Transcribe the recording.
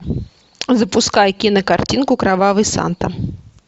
запускай кинокартинку кровавый санта